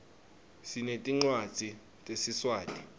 sinetincwadzi tesiswati